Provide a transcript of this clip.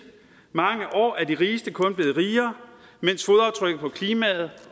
mange år er de rigeste kun blevet rigere mens fodaftrykket på klimaet